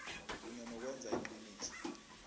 kunye nokwenza iqiniso